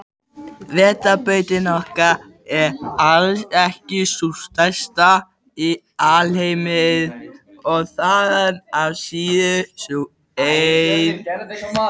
Vetrarbrautin okkar er alls ekki sú stærsta í alheiminum og þaðan af síður sú eina.